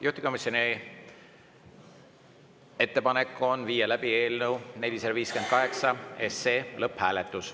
Juhtivkomisjoni ettepanek on viia läbi eelnõu 458 lõpphääletus.